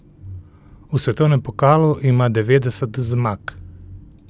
V svetovnem pokalu ima devetdeset zmag.